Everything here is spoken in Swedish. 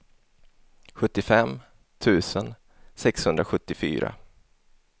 sjuttiofem tusen sexhundrasjuttiofyra